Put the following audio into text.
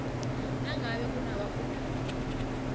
nangabe kunabafundi abanengi